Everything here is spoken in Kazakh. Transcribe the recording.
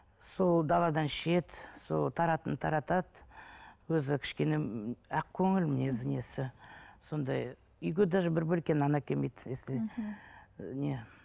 сол даладан ішеді сол таратады өзі кішкене ақкөңіл мінезі несі сондай үйге даже бір бөлке нан әкелмейді если ы не